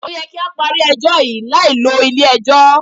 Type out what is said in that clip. Ó yẹ kí á parí ẹjọ́ yí láì lo ilé ẹjọ́.